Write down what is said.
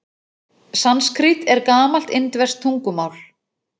Sanskrít er gamalt indverskt tungumál.